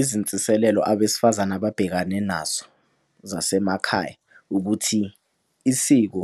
Izinsiselelo abesifazane ababhekane nazo, zasemakhaya ukuthi isiko